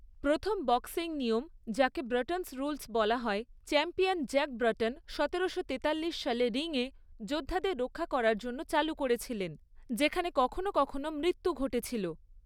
প্রথম বক্সিং নিয়ম, যাকে ব্রটনস রুলস বলা হয়, চ্যাম্পিয়ন জ্যাক ব্রটন সতেরোশো তেতাল্লিশ সালে রিং এ যোদ্ধাদের রক্ষা করার জন্য চালু করেছিলেন, যেখানে কখনও কখনও মৃত্যু ঘটেছিল।